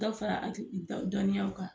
dɔ bɛ fara dɔnniyaw kan.